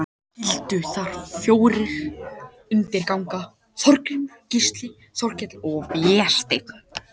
Þeir skyldu þar fjórir undir ganga, Þorgrímur, Gísli, Þorkell og Vésteinn.